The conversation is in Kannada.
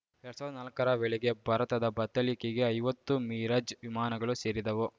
ಎರಡ್ ಸಾವ್ರ್ದಾ ನಾಲ್ಕರ ವೇಳೆಗೆ ಭಾರತದ ಬತ್ತಳಿಕೆಗೆ ಐವತ್ತು ಮಿರಾಜ್‌ ವಿಮಾನಗಳು ಸೇರಿದವು